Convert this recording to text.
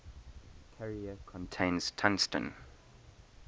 carrier contains tungsten